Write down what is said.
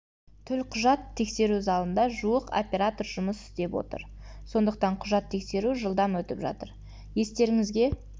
төлқұжат тексеру залында жуық оператор жұмыс істеп отыр сондықтан құжат тексеру жылдам өтіп жатыр естеріңізге